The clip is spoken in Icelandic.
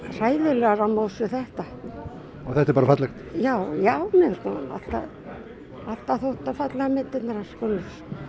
hræðilegar á móts við þetta og þetta er bara fallegt já já mér hefur alltaf þótt fallegar myndirnar hans Gunnlaugs